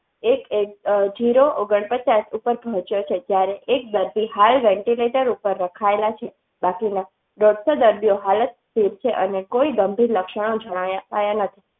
એક ઝીરો ઓગણ પચાસ ઉપર પહોંચ્યો છે. જ્યારે એક હાય ventilator ઉપર રખાયા છે. સે અને કોઈ ગંભીર લક્ષણ જણાયા.